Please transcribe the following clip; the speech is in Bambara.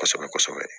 Kɔsɛbɛ kɔsɛbɛ